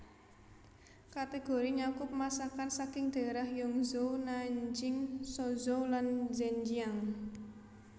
Kategori nyakup masakan saking daerah Yangzhou Nanjing Suzhou lan Zhenjiang